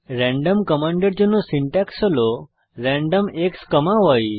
random কমান্ডের জন্য syntax হল র্যান্ডম xই